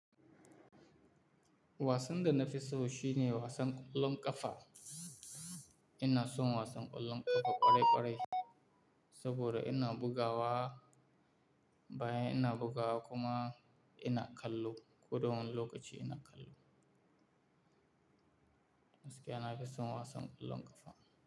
Wasan da na fi so shine wasan ƙwallon ƙafa. Ina son wasan ƙwallon ƙafa ƙwarai ƙwarai saboda ina bugawa, bayan ina bugawa kuma ina kallo. Ko da wani lokaci ina kallo. Gaskiya na fi son wasan ƙwallon ƙafa.